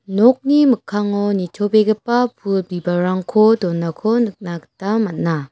nokni mikkango nitobegipa pul bibalrangko donako nikna gita man·a.